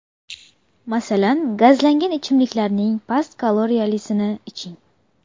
Masalan, gazlangan ichimliklarning past kaloriyalisini iching.